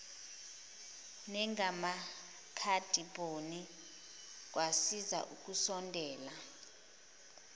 nangamakhadibhodi kwasiza ukusondela